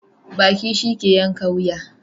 Baki shi ke yanka wuya.